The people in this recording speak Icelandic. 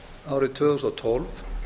árið tvö þúsund og tólf